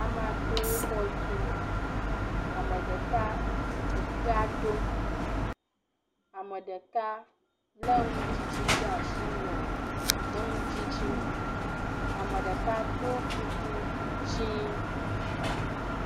Ame aɖewo xɔ tum. Ame ɖeka ekpea ɖom. Ame ɖeka le nudidi ɖe asi nɔ eŋu dzidzim, ame ɖeka ɖɔ kuku dzɛ.